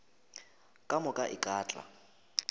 ka moka e ka tla